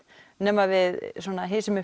nema við